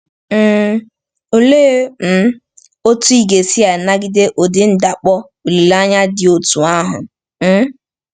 um Olee um otú ị ga-esi nagide ụdị ndakpọ olileanya dị otú ahụ? um